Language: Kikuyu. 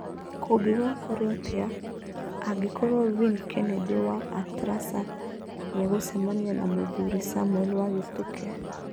Kũngĩgakorũo atĩa, angĩkorũo Vin Kennedy wa Atlasa nĩ egũcemania na mũthuri Samuel wa Gituke.